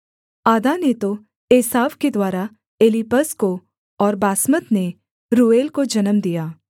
आदा ने तो एसाव के द्वारा एलीपज को और बासमत ने रूएल को जन्म दिया